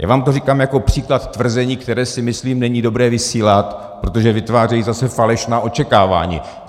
Já vám to říkám jako příklad tvrzení, které si myslím, není dobré vysílat, protože vytváří zase falešná očekávání.